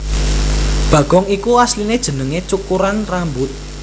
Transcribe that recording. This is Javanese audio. Bagong iku asliné jenengé cukuran rambut